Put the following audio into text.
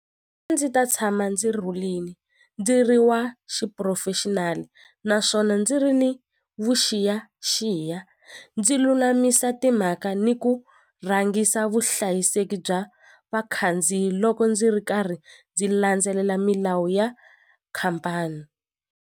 A ndzi ta tshama ndzi rhulini ndzi ri wa xipurofexinali naswona ndzi ri ni vuxiyaxiya ndzi lulamisa timhaka ni ku rhangisa vuhlayiseki bya vakhandziyi loko ndzi ri karhi ndzi landzelela milawu ya khampani.